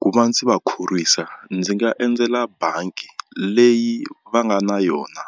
Ku va ndzi va khorwisa ndzi nga endzela bangi leyi va nga na yona